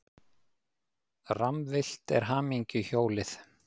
Rammvillt er hamingjuhjólið.